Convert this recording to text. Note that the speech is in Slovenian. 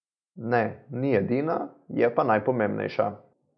Ne, ni edina, je pa najpomembnejša.